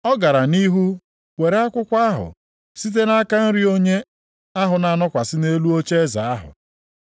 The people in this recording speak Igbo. Ọ gara nʼihu were akwụkwọ ahụ site nʼaka nri onye ahụ na-anọkwasị nʼelu ocheeze ahụ.